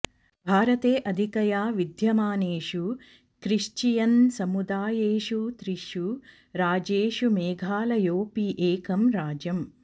भारते अधिकया विद्यमानेषु क्रिश्चियनसमुदायेषु त्रिषु राज्येषु मेघालयोऽपि एकं राज्यम्